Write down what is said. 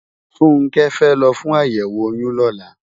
Funke fè lò fún àyèwó óyùn lòlá